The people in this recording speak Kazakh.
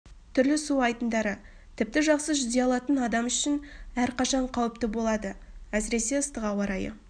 түрлі су айдындары тіпті жақсы жүзе алатын адам үшін әрқашан қауіпті болады әсіресе ыстық ауа райы